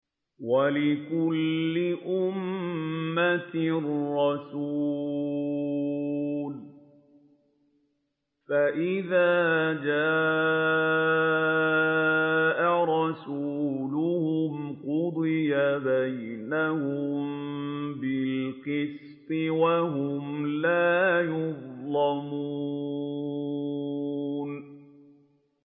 وَلِكُلِّ أُمَّةٍ رَّسُولٌ ۖ فَإِذَا جَاءَ رَسُولُهُمْ قُضِيَ بَيْنَهُم بِالْقِسْطِ وَهُمْ لَا يُظْلَمُونَ